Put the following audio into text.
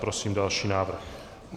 Prosím další návrh.